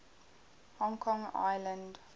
hong kong island